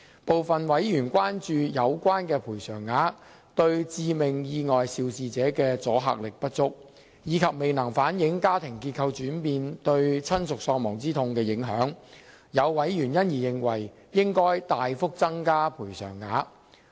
部分委員關注有關的賠償額對致命意外肇事者的阻嚇力不足，以及未能反映家庭結構轉變對親屬喪亡之痛的影響，有委員因而認為應大幅增加賠償額。